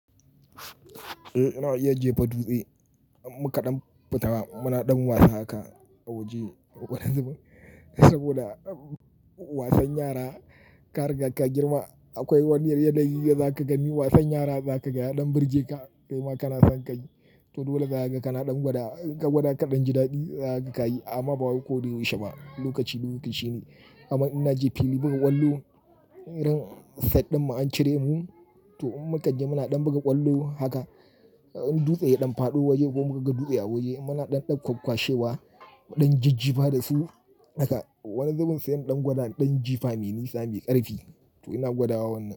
Ina iya jefa in mukaɗan fita munaɗan wasa haka a waje wani zubin saboda wasan yara ka riga ka girma akwai wani yanayi za ka gani wasan yara za ka ga yaɗan birge ka kai ma kana san ka yi. To dole za kaga kana ɗan gwada, in ka gwada kaɗan jiɗaɗi za ka ka yi amma bawai koda yaushe ba lokaci lokaci ne. Amma in na je fili buga ƙwallo irin set ɗin mu an cire mu to in muka je munaɗan buga ƙwallo haka in dutse ya ɗan faɗo waje ko muka ga dutse a waje munaɗan ɗan kwakkwashewa, muɗan jiji fa da su haka wani zubin sai mu ɗan gwada ɗan jifa mai nisa mai ƙarfi to ina gwadawa wannan.